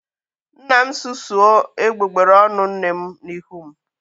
Nna m susuo egbugbere ọnụ nne m n'ihu m